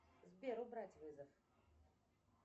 сбер убрать вызов